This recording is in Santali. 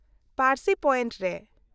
-ᱯᱟᱨᱥᱤ ᱯᱚᱭᱮᱱᱴ ᱨᱮ ᱾